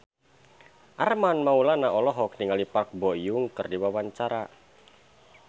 Armand Maulana olohok ningali Park Bo Yung keur diwawancara